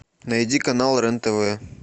найди канал рен тв